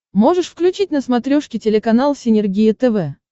можешь включить на смотрешке телеканал синергия тв